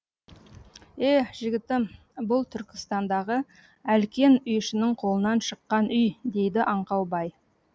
е жігітім бұл түркістандағы әлкен үйшінің қолынан шыққан үй дейді аңқау бай